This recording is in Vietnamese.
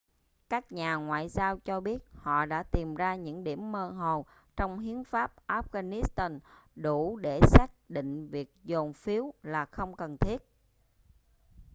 các nhà ngoại giao cho biết họ đã tìm ra những điểm mơ hồ trong hiến pháp afghanistan đủ để xác định việc dồn phiếu là không cần thiết